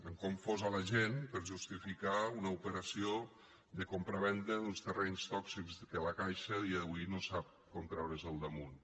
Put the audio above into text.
han confós la gent per justificar una operació de compravenda d’uns terrenys tòxics que la caixa a dia d’avui no sap com treure’s del damunt